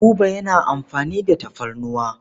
Buba yana amfani da tafarnuwa.